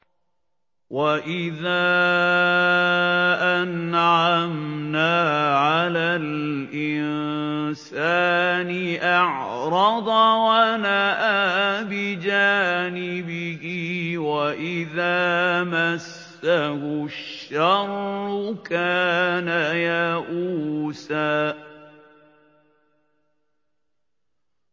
وَإِذَا أَنْعَمْنَا عَلَى الْإِنسَانِ أَعْرَضَ وَنَأَىٰ بِجَانِبِهِ ۖ وَإِذَا مَسَّهُ الشَّرُّ كَانَ يَئُوسًا